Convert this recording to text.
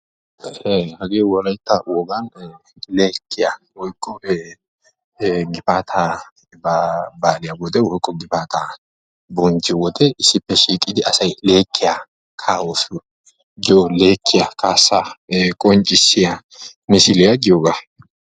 Hagee wolaytta wogan leekkiyaa woykko gifaataa baaliyaa wode woykko gifataa bonchchiyoo wode issippe shiiqidi asay leekkiyaa kaa"oos yaagiyoo leekkiyaa kaassaa qonccisiyaa misiliyaa yaagiyoogaa.